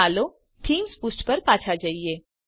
ચાલો થીમ્સ પુષ્ઠ પર પાછા જઈએ